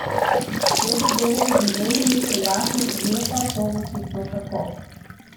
Te zadeve tudi meni niso jasne, je pa to očitno tako.